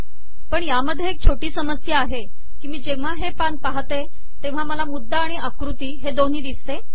पण त्यात एक छोटी समस्या आहे की मी जेव्हा हे पान पहाते तेव्हा मला मुद्दा आणि आकृती हे दोन्ही दिसते